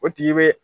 O tigi be